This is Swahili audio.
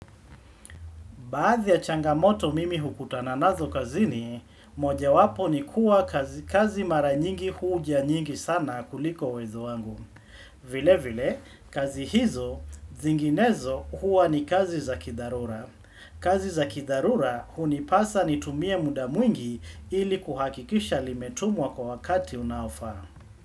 Baadhi ya changamoto mimi hukutana nazo kazini, moja wapo ni kuwa kazi mara nyingi huja nyingi sana kuliko uwezo wangu. Vile vile, kazi hizo, zinginezo huwa ni kazi za kidharura. Kazi za kidharura, hunipasa ni tumie muda mwingi ili kuhakikisha limetumwa kwa wakati unaofa.